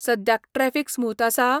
सद्याक traffic smooth आसा?